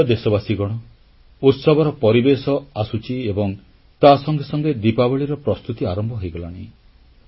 ମୋର ପ୍ରିୟ ଦେଶବାସୀଗଣ ଉତ୍ସବର ପରିବେଶ ଆସୁଛି ଏବଂ ତା ସଙ୍ଗେ ସଙ୍ଗେ ଦିପାବଳୀର ପ୍ରସ୍ତୁତି ଆରମ୍ଭ ହୋଇଗଲାଣି